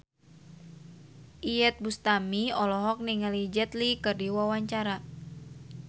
Iyeth Bustami olohok ningali Jet Li keur diwawancara